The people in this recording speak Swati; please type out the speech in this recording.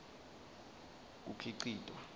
kukhicitwa